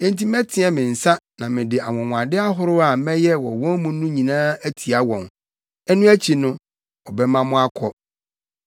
Enti mɛteɛ me nsa na mede anwonwade ahorow a mɛyɛ wɔ wɔn mu no nyinaa atia wɔn. Ɛno akyi no, ɔbɛma mo akɔ.